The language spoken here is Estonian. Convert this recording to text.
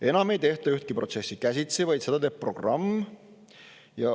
Enam ei tehta ühtegi protsessi käsitsi, kõike teeb programm.